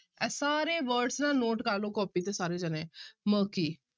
ਇਹ ਸਾਰੇ words ਨਾ note ਕਰ ਲਓ ਕੋਪੀ ਤੇ ਸਾਰੇੇ ਜਾਣੇ murky